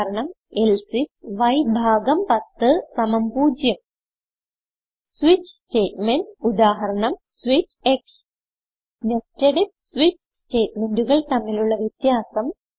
ഉദാഹരണം എൽസെ ifയ്10 0 switch statement ഉദാഹരണം സ്വിച്ച് nested ഐഎഫ് സ്വിച്ച് സ്റ്റേറ്റ്മെന്റുകൾ തമ്മിലുള്ള വ്യത്യാസം